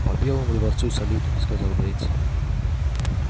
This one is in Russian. по белому дворцу салют сказал боец